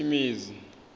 tshimedzi